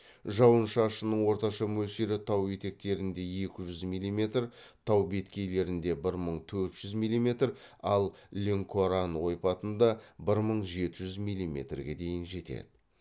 жауын шашынның орташа мөлшері тау етектерінде екі жүз милиметр тау беткейлерінде бір мың төрт жүз милиметр ал ленкоран ойпатында бір мың жеті жүз милиметрге дейін жетеді